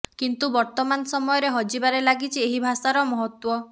କିନ୍ତୁ ବର୍ତ୍ତମାନ ସମୟରେ ହଜିବାରେ ଲାଗିଛି ଏହି ଭାଷାର ମହତ୍ତ୍ୱ